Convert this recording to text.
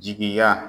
Jigiya